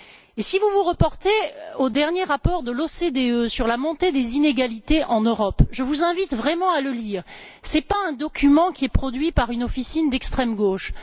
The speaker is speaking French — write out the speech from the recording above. Je vous invite à vous reporter au dernier rapport de l'OCDE sur la montée des inégalités en Europe, et je vous recommande vraiment de le lire. Ce n'est pas un document qui est produit par une officine d'extrême gauche.